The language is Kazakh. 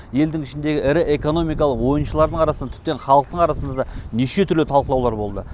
елдің ішіндегі ірі экономикалық ойыншылардың арасында тіптен халықтың арасында да неше түрлі талқылаулар болды